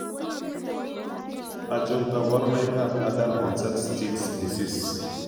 Achon kaborunoik ab adult onset still's disease?